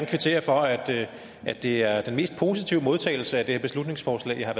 kvittere for at det er den mest positive modtagelse af det her beslutningsforslag jeg har